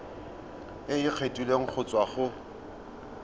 e kgethegileng go tswa go